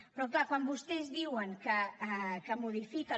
però clar quan vostès diuen que modifiquen